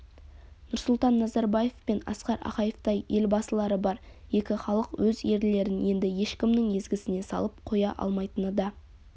нұрсұлтан назарбаев пен асқар ақаевтай елбасылары бар екі халық өз ерлерін енді ешкімнің езгісіне салып қоя алмайтыны да